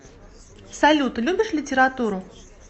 салют любишь литературу